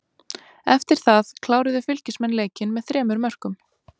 Eftir það kláruðu Fylkismenn leikinn með þremur mörkum.